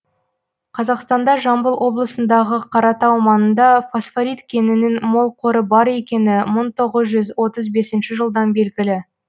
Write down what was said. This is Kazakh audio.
қазақстанда жамбыл облысындағы қаратау маңында фосфорит кенінің мол қоры бар екені мың тоғыз жүз отыз бесінші жылдан белгілі